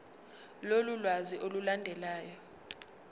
lolu lwazi olulandelayo